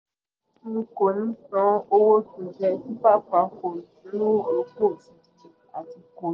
n kò ní san owó to jẹ́ super falcons ní ti di à